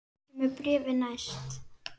Ég kem með bréfin næst.